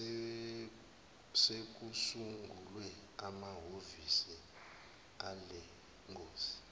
sekusungulwe amahovisi alengosi